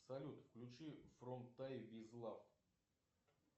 салют включи фром тай виз лав